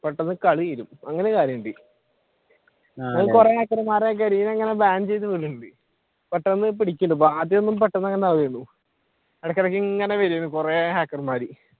പെട്ടെന്നു കളി തീരും അങ്ങനെ ഒരു കാര്യമുണ്ട് പെട്ടെന്നു പിടിക്കുന്നുണ്ട് ആദ്യമൊന്നും പെട്ടെന്ന് അങ്ങനെ ഇടക്ക് ഇടക്ക് ഇങ്ങനെ വരും കുറെ hacker മാർ